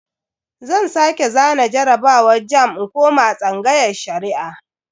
Zan sake zana jarabawar jamb in koma tsangayar Shari'a.